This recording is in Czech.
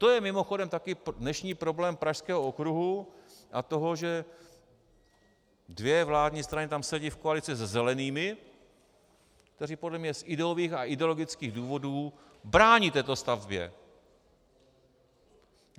To je mimochodem taky dnešní problém Pražského okruhu a toho, že dvě vládní strany tam sedí v koalici se zelenými, kteří podle mě z ideových a ideologických důvodů brání této stavbě.